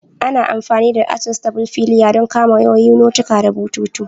Ana amfani da "adjustable filier" don kama wayoyi, notuka da bututu.